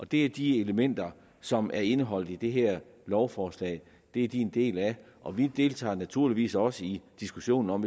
det er de elementer som er indeholdt i det her lovforslag det er de en del af og vi deltager naturligvis også i diskussionen om